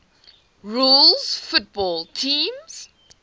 rules football teams